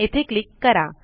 येथे क्लिक करा